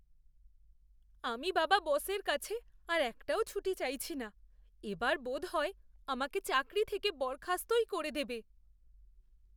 আমি বাবা বসের কাছে আর একটাও ছুটি চাইছি না। এবার বোধহয় আমাকে চাকরি থেকে বরখাস্তই করে দেবে।